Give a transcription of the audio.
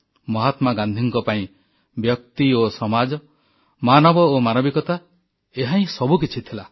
ମହାତ୍ମା ଗାନ୍ଧୀଙ୍କ ପାଇଁ ବ୍ୟକ୍ତି ଓ ସମାଜ ମାନବ ଓ ମାନବିକତା ଏହାହିଁ ସବୁକିଛି ଥିଲା